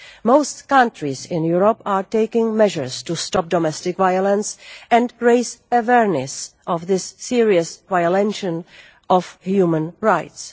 Most countries in Europe are taking measures to stop domestic violence and raise awareness of this serious violation of human rights.